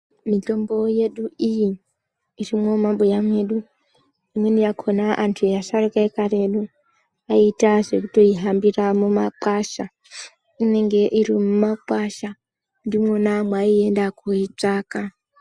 Mitombo yedu iyi ,irimo mumabuya mwedu . Imweni yakhona antu asharukwa ekare kwedu vaita zvekutoihambira mumakwasha . Inenge iri mumakwasha ndimwona mwaaienda koitsvaka.